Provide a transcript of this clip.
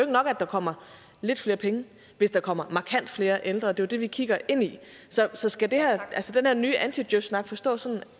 nok at der kommer lidt flere penge hvis der kommer markant flere ældre og det er jo det vi kigger ind i så skal den her nye anti djøf snak forstås sådan